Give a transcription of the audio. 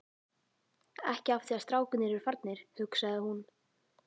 Ekki af því að strákarnir eru farnir, hugsaði hún.